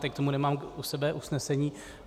Teď k tomu nemám u sebe usnesení.